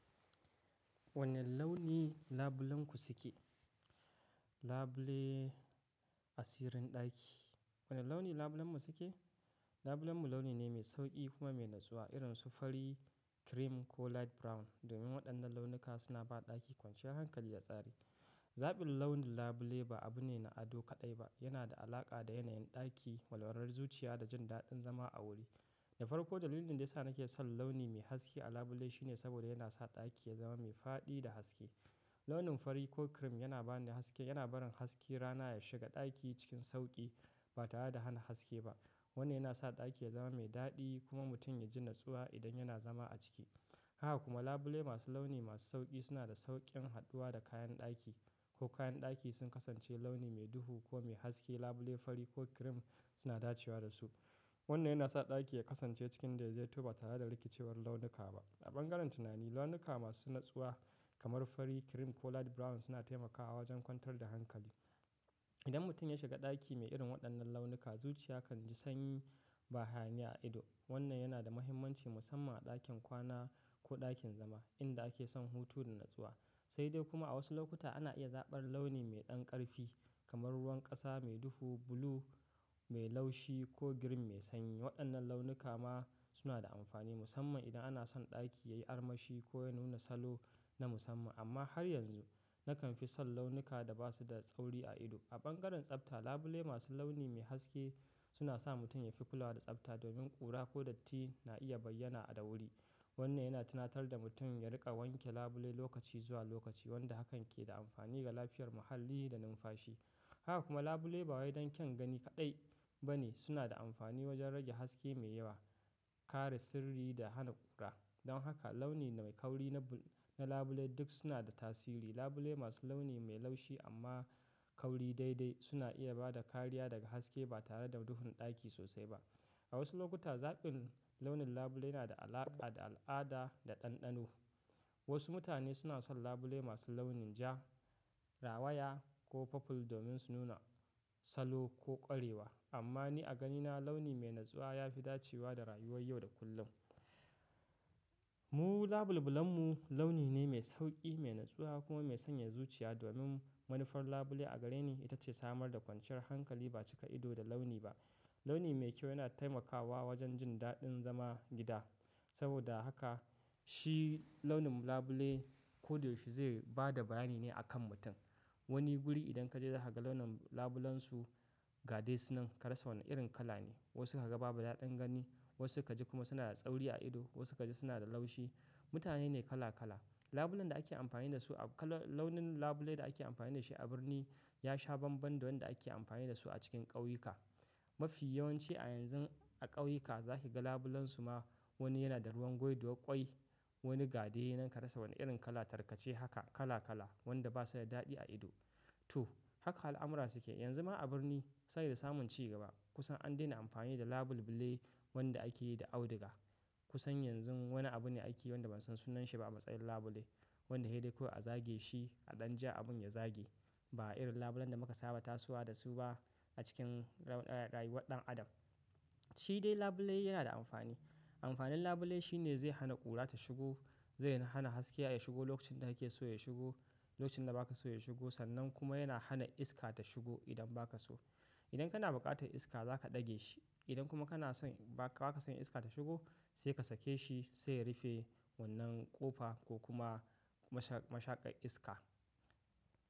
Wane launi labulenku suke? Labule, asirin ɗaki. Wane launi labulenmu suke? Labulenmu launi ne mai sauƙi kuma mai natsuwa, irin su fari, cream ko light brown. Domin waɗannan launuka suna ba ɗaki kwanciyar hankali da tsari. Zaɓin launin labule ba abu ne na ado kaɗai ba, yana da alaƙa da yanayin ɗaki, walwalar zuciya da jin daɗin zama a wuri. Da farko dalilin da ya sa nake son launi mai haske a labule shine saboda yana sa ɗaki ya zama mai faɗi da haske. Launin fari ko cream yana ba ni haske, yana barin haske rana ya shiga ɗaki cikin sauƙi ba tare da hana haske ba. Wannan yana sa ɗaki ya zama mai daɗi kuma mutum ya ji natsuwa idan yana zama a ciki. Haka kuma labule masu launi masu sauƙi suna da sauƙin haɗuwa da kayan ɗaki. Ko kayan ɗaki sun kasance launi mai duhu ko mai haske, labule fari ko cream suna dacewa da su. Wannan yana sa ɗaki ya kasance cikin dai dai to ba tare da rikicewar launuka ba. A bangaren tunani, launuka masu natsuwa kamar fari, cream ko light brown suna taimakawa wajen kwantar da hankali. Idan mutum ya shiga ɗaki mai irin waɗannan launuka, zuciya kan ji sanyi ba hayani a ido. Wannan yana da mahimmanci musamman a ɗakin kwana ko ɗakin zama inda ake son hutu da natsuwa. Sai dai kuma a wasu lokuta ana iya zaɓar launi mai ɗan ƙarfi kamar ruwan ƙasa mai duhu, blue mai laushi ko green mai sanyi. Waɗannan launuka ma suna da amfani musamman idan ana son ɗaki ya yi armashi ko ya nuna salo na musamman. Amma har yanzu nakan fi son launuka da ba su da tsauri a ido. A bangaren tsafta, labule masu launi mai haske suna sa mutum ya fi kulawa da tsafta domin ƙura ko datti na iya bayyana a da wuri. Wannan yana tunatar da mutum ya riƙa wanke labule lokaci zuwa lokaci, wanda hakan ke da amfani ga lafiyar muhalli da numfashi. Haka kuma labule ba waɗannan kyan gani kaɗai ba ne, suna da amfani wajen rage haske mai yawa, kare sirri da hana ƙura. Don haka launi mai kauri na labule duk suna da tasiri. Labule masu launi mai laushi amma kauri daidai suna iya ba da kariya daga haske ba tare da duhun ɗaki sosai ba. A wasu lokuta zaɓin launin labule yana da alaƙa da al'ada da ɗanɗano. Wasu mutane suna son labule masu launin ja, rawaya ko purple domin su nuna salo ko ƙwarewa. Amma ni a ganina launi mai natsuwa ya fi dacewa da rayuwar yau da kullum. Mu labul-bulanmu launi ne mai sauƙi, mai natsuwa kuma mai sanya zuciya. Domin manufar labule a gare ni ita ce samar da kwanciyar hankali ba cika ido da launi ba. Launi mai kyau yana taimakawa wajen jin daɗin zama gida. Saboda haka shi launin labule ko da yaushe zai ba da bayani ne a kan mutum. Wani guri idan ka je za ka ga launin labulansu gade sunan karasa wane irin kala ne. Wasu ka ga babu daɗin gani, wasu ka ji kuma suna da tsauri a ido, wasu ka ji suna da laushi. Mutane ne kala kala. Labulan da ake amfani da su a kala-- launin labulai da ake amfani da shi a birni ya sha banban da wanda ake amfani da su a cikin ƙauyuka. Mafi yawanci a yanzu a ƙauyuka za ki ga labulansu ma wani yana da ruwan gwiduwar ƙwai, wani gade nan ka rasa wane irin kala tarkace haka kala kala wanda ba su da daɗi a ido. To, haka al'amura suke. Yanzu ma a birni sabi da samun ci gaba kusan an daina amfani da labul-bule wanda ake yi da audiga. Kusan yanzu wani abu ne ake yi wanda ban san sunansa ba a matsayin labule, wanda hedeko a zage shi a ɗan ja abin ya zage. Ba irin labulan da muka saba tasowa da su ba a cikin ra-ra-rayuwar ɗan adam. Shi dai labule yana da amfani. Amfanin labule shi ne zai hana ƙura ta shigo, zai hana haske ya shigo lokacin da yake so ya shigo, lokacin da ba ka so ya shigo sannan kuma yana hana iska ta shigo idan ba ka so. Idan kana buƙatar iska za ka ɗage shi. Idan kuma kana son ba ka, ba ka son iska ta shigo sai ka sake shi, sai ya rufe wannan ƙofa ko kuma mashaƙar iska.